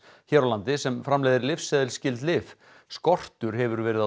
hér á landi sem framleiðir lyfseðilsskyld lyf skortur hefur verið